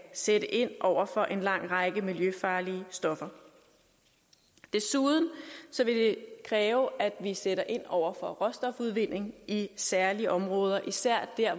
sætte ind over for en lang række miljøfarlige stoffer desuden vil det kræve at vi sætter ind over for råstofudvinding i særlige områder især der